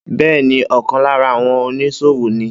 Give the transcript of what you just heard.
Bẹ́ẹ́ni, ọkàn lára àwọn oníṣòwò ní.